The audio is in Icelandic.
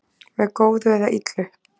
með góðu eða illu